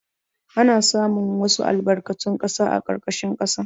Ana samun wasu albarkatun ƙasa a ƙarƙashin ƙasa.